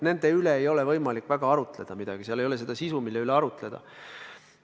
Nende üle ei ole võimalik väga arutleda – seal ei ole sisu, mille üle arutleda.